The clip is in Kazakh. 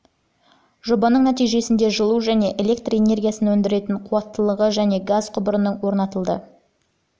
жобаның нәтижесінде жылу және электр энергиясын өндіретін қуаттылығы және газ құбырының орнатылды